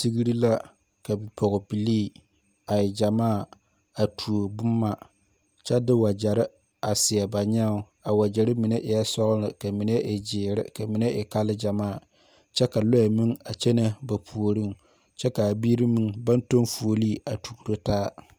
Tigri la ka poɔbilii a e jamaa a tuo buma kye de wajeri a seɛ ba nyaa a wajeri mene eei sɔgli ka mene e ziiri ka mene e kal jamaa kye ka lɔɛ meng a kyene ba pouring kye kaa biiri meng bang tun fuolee a tuoro taa.